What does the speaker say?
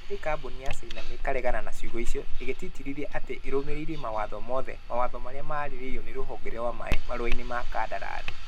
Ĩndĩ kambuni ya caina nĩ ĩkaregana na ciugo icio. ĩgĩtĩtĩrithia atĩ nĩ ĩrũmĩrĩire mawatho mothe. Mawatho marĩa maarĩrĩirio nĩ rũhonge rwa maĩ marũa-inĩ ma kandarathi.